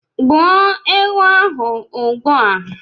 gbuo ewu ahu ugbua!